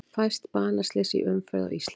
Fæst banaslys í umferð á Íslandi